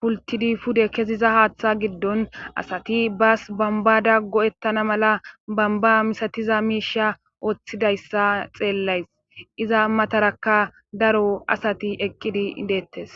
pultidi pude kesiza haaththa giddon asati bas bambada go7ettana mala bamba misatiza miisha ooththidayssa xeellays iza matarakka daro asati eqqidi deettes.